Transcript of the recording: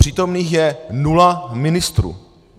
Přítomných je nula ministrů!